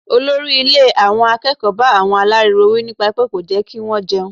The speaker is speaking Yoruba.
Olórí ilé àwọn akẹ́kọ̀ọ́ bá àwọn aláriwo wí nípa pé kò jẹ́ kí wọ́n jẹun.